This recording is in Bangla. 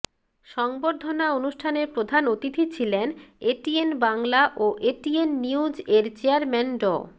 সংবর্ধনা অনুষ্ঠানে প্রধান অতিথি ছিলেন এটিএন বাংলা ও এটিএন নিউজ এর চেয়ারম্যান ড